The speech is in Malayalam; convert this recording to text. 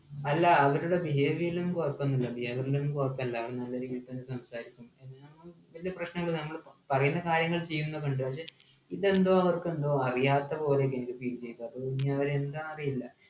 അല്ല അവരുടെ behavior ഒന്നും കൊഴപ്പോന്നും ഇല്ല behavior ഒന്നും കൊഴപ്പല്ല അവര് business സംസാരിക്കുമ്പോ എന്ന് ഞാ വല്യ പ്രശ്ങ്ങളൊന്നും ഞങ്ങള് പറ പറയുന്ന കാര്യങ്ങൾ ചെയ്യുന്നൊക്ക ഉണ്ട പക്ഷെ ഇതെന്തോ അവർക്കെന്തോ അറിയാത്ത പോലെ ഒക്കെ എനിക്ക് feel ചെയ്യുക ഒന്ന് എന്താ അറീല